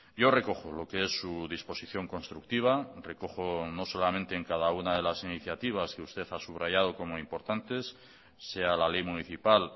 yo recojo lo que es su disposición constructiva recojo no solamente en cada una de las iniciativas que usted ha subrayado como importantes sea la ley municipal